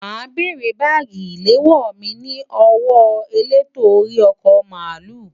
Ma bèrè bagi ilewo mi ni owo eleto ori oko baalu.